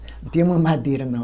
Não tinha mamadeira, não.